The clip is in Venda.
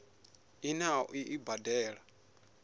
ine a ḓo i badela